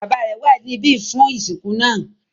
Bàbá rẹ̀ wà níbí fún ìsìnkú náà.